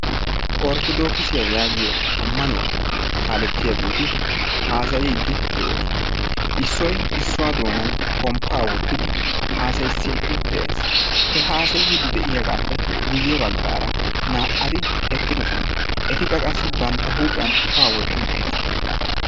Orttodokisiya yaagiyo ammanuwa kaaletiyageti haasayidi de'osona. Issoy issuwa doonan pomppa wottidi haasayisidi de'ees. He haasayidi de'iyagappe guyye baggaara naa'ati eqqidosona. Etikka qassi bantta huuphiyan ufaa wotti uttidosona.